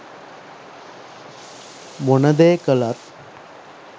මොන දේ කළත්